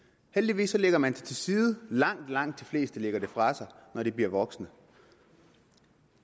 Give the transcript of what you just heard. heldigvis lægger man det til side langt langt de fleste lægger det fra sig når de bliver voksne